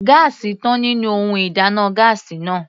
Gáásì tán nínú ohun ìdáná gáásì náà.